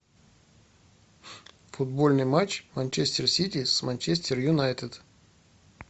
футбольный матч манчестер сити с манчестер юнайтед